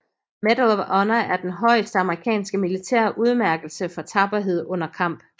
Medal of Honor er den højeste amerikanske militære udmærkelse for tapperhed under kamp